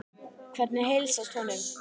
Hvernig heilsast honum?